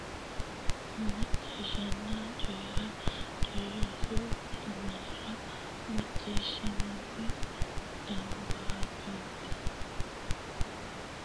Macciishshanna Coyi ra Coyi ra Sa u lamalara macciishshitinita dambaariyyote kiiro marro qole rosiisaanchu cho nabbawanna bbanna sekkitine macciishshitinihu gedensaanni aante shiqqino xa muwa gaamotenni hasaabbine dawaro qaalunni kulle.